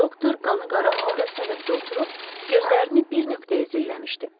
Doktor qanı qara halda səbətdə oturub, gözlərini bir nöqtəyə zilləmişdi.